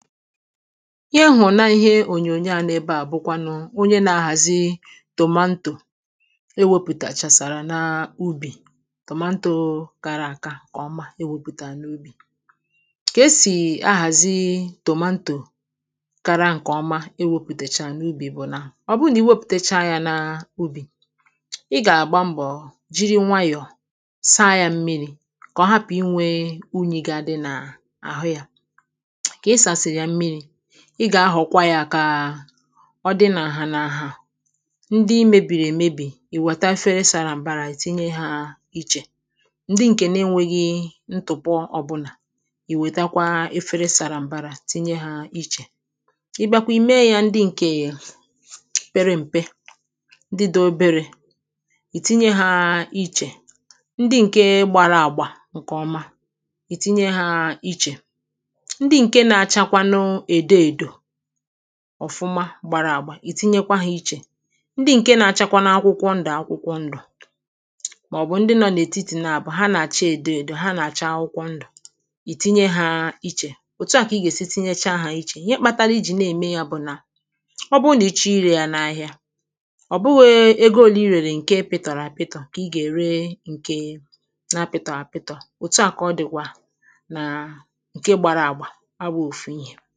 ihe m hụ̀rụ̀ na ihe ònyònyo a no ebeà bùkwànù onye na-ahàzi tomatoe ewepụ̀tàchàsàrà n’ubì tomatoe kara àka ǹkè ọma iwepùtàchà n’ubì kà esì ahàzi tomatoe kara àka ǹkè ọma iwepùtàchà n’ubì bụ̀ nà ọ bụrụ nà iwepùtacha ya n’ubì ị gà-àgba mbò jìri nwayọ̀ọ̀ saa ya mmirī kà ọ hapù inwe unyì ga-adi n’àhú ya kà ị sàsị̀rị̀ yà mmirī ị gà-ahọ̀kwa ya kà ọ dị nà ǹhà nà ǹhà ndi mebìrì èmebì ì wète afere sara mbara ìtinye ha ichè ndi ǹkè na-enweghi ntùpọ ọ̀bụlà ì wètekwa afere sara mbara ìtinye ha ichè ị bịakwa ì mee ya ǹdị ǹke pere m̀pe ndị dị oberē ìtinye ha ichè ndị ǹke gbara agbà ǹkè ọma ìtinye ha ichè ndị ǹke na-achakwanụ èdo èdò ọ̀fụma gbara àgbà ìtinyekwa ha ichè ndị ǹke na-achakwanụ akwụkwọ ndù akwụkwọ ndù màọ̀bụ̀ ndị nọ n’ètitì naàbọ̀ ha nà-àcha èdo èdò nà-àcha akwụkwọ ndù ìtinye ha ichè òtu à kà ị gà-èsi tinyecha ha ichè ihe kpatara ijì na-ème ya bù nà ọ bụrụ nà ị chọọ irē ya n’ahịa ọ bụghị egō ole I rèrè ǹke pịtọ̀rọ̀ àpịtọ̀ kà ị gà-ère ǹke na-àpịtọ̀ghị̀ àpịtọ̀ òtu à kà ọ dị̀kwà nà ǹdị gbara àgbà abụghị òfu ihē